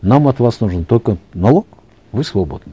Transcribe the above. нам от вас нужен только налог вы свободны